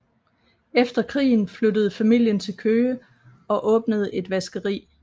Efter krigen flyttede familien til Køge og åbnede et vaskeri